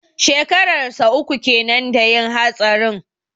Shekarar sa uku kenan da yin hatsarin.